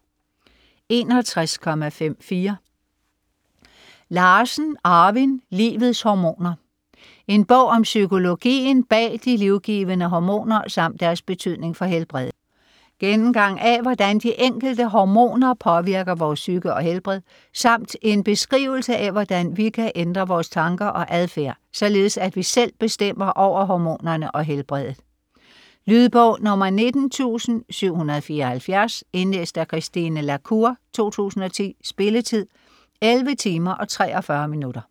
61.54 Larsen, Arvin: Livets hormoner: en bog om psykologien bag de livgivende hormoner, samt deres betydning for helbredet Gennemgang af hvordan de enkelte hormoner påvirker vores psyke og helbred, samt en beskrivelse af hvordan vi kan ændre vores tanker og adfærd således at vi selv bestemmer over hormonerne og helbredet. Lydbog 19774 Indlæst af Christine la Cour, 2010. Spilletid: 11 timer, 43 minutter.